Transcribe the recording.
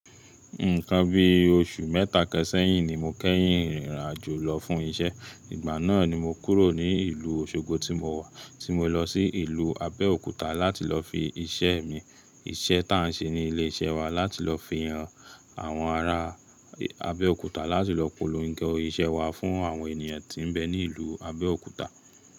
Nǹkan bí oṣù mẹ́ta kan ṣẹ̀yìn ni mo kẹ́yìn ìrìn àjò lọ fún iṣẹ́. Ìgbà náà ni mo kúrò ní ìlú Òṣogbo tí mo wà, tí mo lọ sí ìlú Abẹ́òkúta láti lọ fi iṣẹ́ mi, iṣẹ́ táà ń ṣe ní ilé iṣẹ́ wa láti lọ fi hàn àwọn ará Abẹ́òkúta láti lọ polòngo iṣẹ́ wa fún àwọn ènìyàn tí ń bẹ ní ìlú Abẹ́òkúta.